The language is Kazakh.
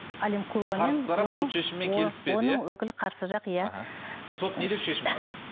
әлімқұлова сот не деп шешім шығарды